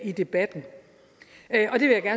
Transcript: i debatten